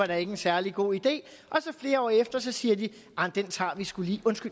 er en særlig god idé og flere år efter siger de